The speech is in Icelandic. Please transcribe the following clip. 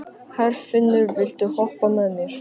Herfinnur, viltu hoppa með mér?